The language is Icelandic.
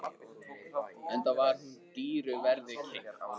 Enda var hún dýru verði keypt.